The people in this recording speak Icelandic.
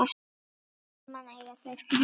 Saman eiga þau þrjú börn.